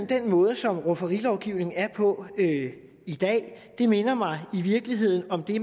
den måde som rufferilovgivningen er på i dag minder mig i virkeligheden om det